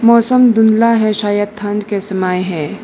मौसम धुंधला है शायद ठंड के समय है।